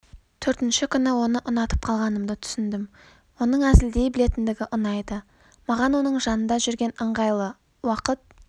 төртінші күні оны ұнатып қалғанымды түсіндім оның әзілдей білетіндігі ұнайды маған оның жанында жүрген ыңғайлы уақыт